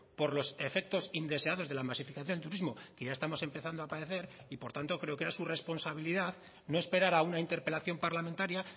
por los efectos indeseados de la masificación del turismo que ya estamos empezando a padecer y por tanto creo que era su responsabilidad no esperar a una interpelación parlamentaria